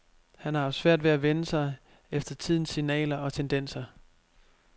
Han har haft svært ved at vende sig efter tidens signaler og tendenser.